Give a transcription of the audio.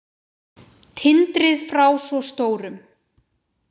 Tindrið frá svo stórum.